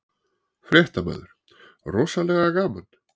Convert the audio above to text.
Fréttamaður: Rosalega gaman?